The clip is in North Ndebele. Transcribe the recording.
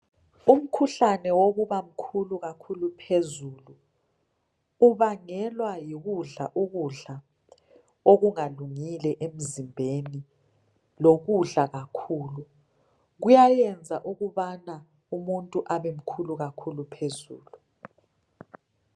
Umkhuhlane wokuba mkhulu kakhulu phezulu ubangelwa yikudla ukudla okungakungile emzimbeni lokudla kakhulu. Kuyayenza ukuba umuntu abemkhulu phezulu.